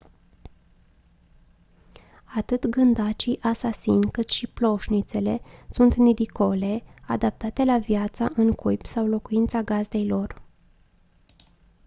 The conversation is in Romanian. atât gândacii asasini cât și ploșnițele sunt nidicole adaptate la viața în cuib sau locuința gazdei lor